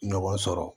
Ɲɔgɔn sɔrɔ